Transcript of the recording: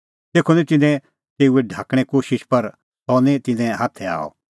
तेखअ की तिन्नैं तेऊ ढाकणें कोशिश पर सह निं तिन्नें हाथै आअ